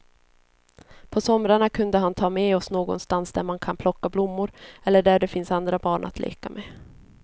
På somrarna kunde han ta med oss någonstans där man kan plocka blommor eller där det finns andra barn att leka med.